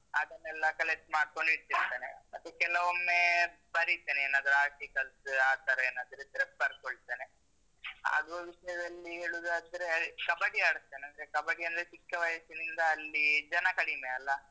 ಅದನ್ನೆಲ್ಲ collect ಮಾಡ್ಕೊಂಡ್ ಇಟ್ಟಿರ್ತೇನೆ. ಮತ್ತೆ ಕೆಲವೊಮ್ಮೆ ಬರಿತೇನೆ ಏನಾದ್ರೂ articles ಆ ತರ ಏನಾದ್ರೂ ಇದ್ರೆ ಬರ್ಕೊಳ್ತೇನೆ. ಆಡುವ ವಿಷಯದಲ್ಲಿ ಹೇಳುದಾದ್ರೆ ಕಬಡ್ಡಿ ಆಡ್ತೇನೆ. ಅಂದ್ರೆ ಕಬಡ್ಡಿ ಅಂದ್ರೆ ಚಿಕ್ಕ ವಯಸ್ಸಿನಿಂದ ಅಲ್ಲಿ ಜನ ಕಡಿಮೆ ಅಲ್ಲ ಅಂದ್ರೆ ಎಂತ ಬೇಕಂತಿಲ್ಲ ಅದಿಕ್ಕೆ.